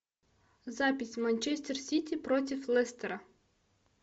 запись манчестер сити против лестера